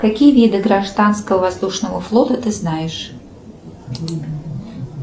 какие виды гражданского воздушного флота ты знаешь